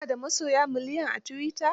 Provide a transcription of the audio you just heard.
Ka na da masoya miliyan a tuwita?